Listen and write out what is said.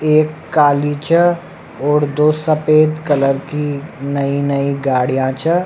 एक काली छे और दो सफ़ेद कलर की नई नई गाड़िया छे।